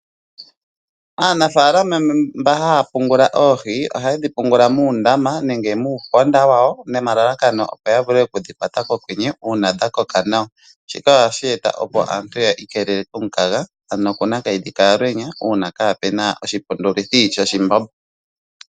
Aanafaalama mba haya pungula oohi ohayedhi pungula muundama nenge muuponda wayo nomalalakano opo ya vule oku dhi kwata pokwenye uuna dha koka nawa. Shika ohashi eta opo aantu yi ikeelele komukaga ano kunakayidhi kaalwenya uuna kaapuna oshipundulithi shoshi mbombo.